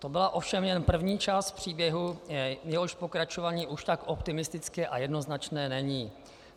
To byla ovšem jen první část příběhu, jehož pokračování už tak optimistické a jednoznačné není.